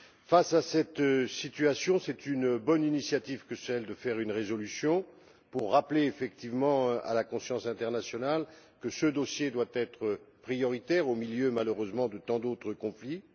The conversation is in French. Face à cette situation, c'est une bonne initiative que celle d'adopter une résolution pour rappeler effectivement à la conscience internationale que ce dossier doit être prioritaire au milieu, malheureusement, de tant d'autres conflits.